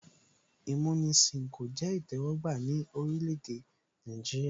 Ìmúnisìn kò jẹ́ ìtẹ́wọ́gbà ní orílẹ̀ èdè Nàìjíríà